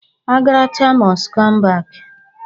Agaracha most come back.